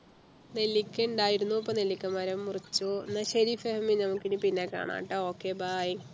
നെല്ലിക്ക ഉണ്ടായിരുന്നു ഇപ്പോ നെല്ലിക്ക മരം മുറിച്ചു എന്ന ശരി ഫെഹ്മി നമുക്ക് ഇനി പിന്നെ കാണാട്ടോ okay bye